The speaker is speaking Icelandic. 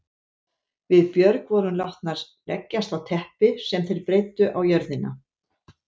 Við Björg vorum látnar leggjast á teppi sem þeir breiddu á jörðina.